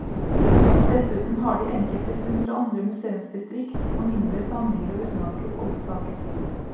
Dessuten har de enkelte funn fra andre museumsdistrikt, og mindre samlinger av utenlandske oldsaker.